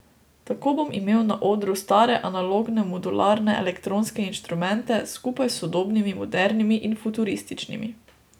Tako bom imel na odru stare analogne modularne elektronske inštrumente skupaj s sodobnimi modernimi in futurističnimi.